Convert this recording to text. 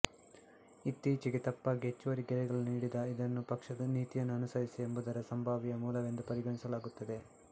ಇತ್ತೀಚೆಗೆ ತಪ್ಪಾಗಿ ಹೆಚ್ಚುವರಿ ಗೆರೆಗಳನ್ನು ನೀಡಿದ ಇದನ್ನು ಪಕ್ಷದ ನೀತಿಯನ್ನು ಅನುಸರಿಸಿ ಎಂಬುದರ ಸಂಭಾವ್ಯ ಮೂಲವೆಂದು ಪರಿಗಣಿಸಲಾಗುತ್ತದೆ